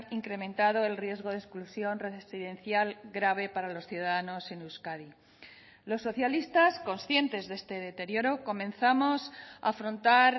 incrementado el riesgo de exclusión residencial grave para los ciudadanos en euskadi los socialistas conscientes de este deterioro comenzamos a afrontar